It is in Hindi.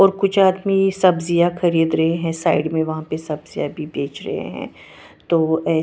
और कुछ आदमी सब्जिया खरीद रहे है साइड मे वहाँ पे सबजिया भी बेच रहे है तो अ--